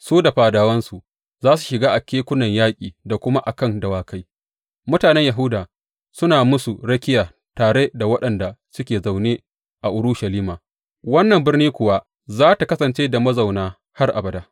Su da fadawansu za su shiga a kan kekunan yaƙi da kuma a kan dawakai, mutanen Yahuda suna musu rakiya tare da waɗanda suke zaune a Urushalima, wannan birni kuwa za tă kasance da mazauna har abada.